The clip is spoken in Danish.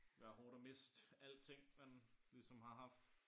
Være hårdt at miste alting man ligesom har haft